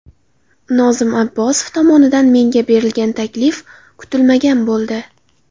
Nozim Abbosov tomonidan menga berilgan taklif kutilmagan bo‘ldi.